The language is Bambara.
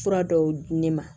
Fura dɔw di ne ma